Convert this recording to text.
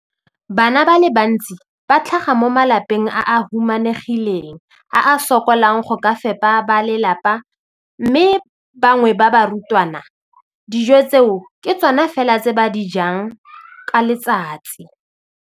Bana ba le bantsi ba tlhaga mo malapeng a a humanegileng a a sokolang go ka fepa ba lelapa mme ba bangwe ba barutwana, dijo tseo ke tsona fela tse ba di jang ka letsatsi.